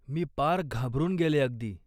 मी पार घाबरून गेले अगदी.